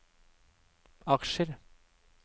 aksjer